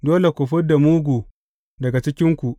Dole ku fid da mugu daga cikinku.